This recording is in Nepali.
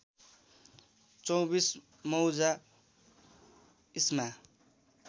२४ मौजा इस्मा